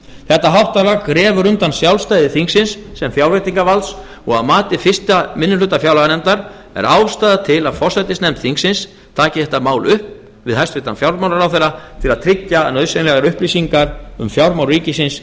þetta háttalag grefur undan sjálfstæði þingsins sem fjárveitingavalds og að mati fyrsta minnihluta fjárlaganefndar er ástæða til að forsætisnefnd þingsins taki þetta mál upp við hæstvirtan fjármálaráðherra til að tryggja að nauðsynlegar upplýsingar um fjármál ríkisins